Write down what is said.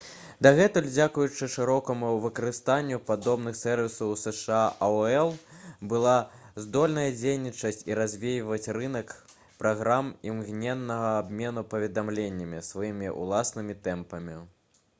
дагэтуль дзякуючы шырокаму выкарыстанню падобных сэрвісаў у зша aol была здольная дзейнічаць і развіваць рынак праграм імгненнага абмену паведамленнямі сваімі ўласнымі тэмпамі